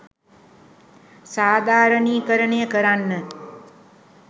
සාධාරණීකරණය කරන්න